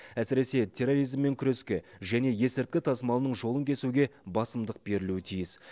әсіресе терроризммен күреске және есірткі тасымалының жолын кесуге басымдық берілуі тиіс